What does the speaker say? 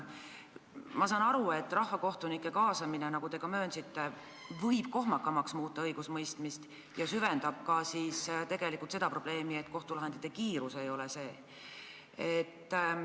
Ma saan aru, et rahvakohtunike kaasamine, nagu te ka möönsite, võib õigusemõistmist kohmakamaks muuta ja süvendab seda probleemi, et kohtulahendite kiirus ei ole see, mis vaja.